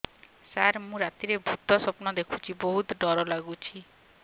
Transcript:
ସାର ମୁ ରାତିରେ ଭୁତ ସ୍ୱପ୍ନ ଦେଖୁଚି ବହୁତ ଡର ଲାଗୁଚି